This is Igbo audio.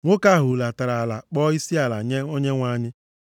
Nwoke ahụ hulatara ala kpọọ isiala nye Onyenwe anyị.